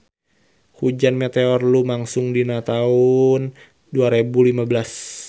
Hujan meteor lumangsung dina taun dua rebu lima belas